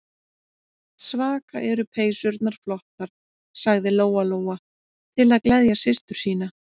Svaka eru peysurnar flottar, sagði Lóa-Lóa til að gleðja systur sína.